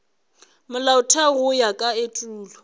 molaotheo go ya ka etulo